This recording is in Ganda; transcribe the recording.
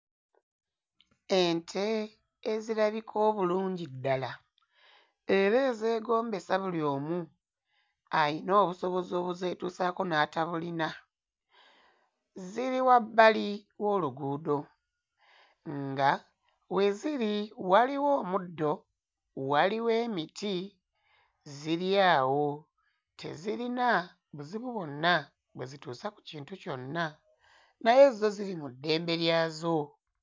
Ente ezirabika obulungi ddala era ezeegombesa buli omu, alina obusobozi obuzeetuusaako n'atabulina. Ziri wabbali w'oluguudo, nga, we ziri waliwo omuddo, waliwo emiti, ziri awo tezirina buzibu bwonna bwe zituusa ku kintu kyonna, naye zo ziri mu ddembe lyazo.